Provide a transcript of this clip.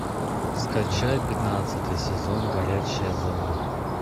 скачай пятнадцатый сезон горячая зона